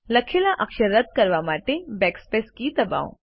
લખેલા અક્ષરો રદ કરવા માટે બેકસ્પેસ કી દબાવો